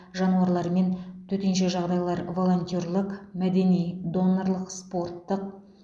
жануарлармен төтенше жағдайлар волонтерлік мәдени донорлық спорттық